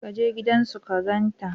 Ka je gidan su ka gan ta